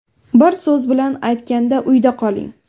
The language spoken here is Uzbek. Bir so‘z bilan aytganda – uyda qoling!